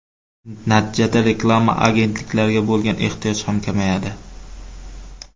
Natijada reklama agentliklariga bo‘lgan ehtiyoj ham kamayadi.